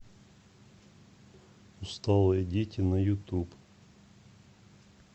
усталые дети на ютуб